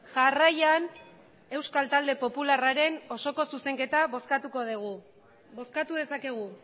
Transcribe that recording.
jarraian euskal talde popularraren osoko zuzenketa bozkatuko dugu bozkatu dezakegu